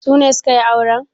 Su ne suke yin aure?